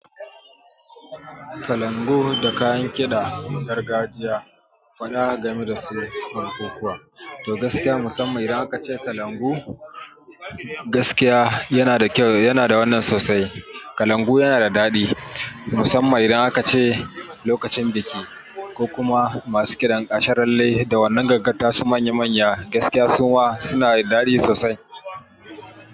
Kalangu da kayan kiɗa, gargajiya kwana game da su kalankuwa. To gaskiya musamman idan kace kalangu, gaskiya yana da kyau, yana da wannan sosai. Kalangu yana da daɗi musamman idan akace lokacin biki ko kuma masu kiɗan asharalle da wannan gangan ta su manya manya, gaskiya suma suna da daɗi sosai.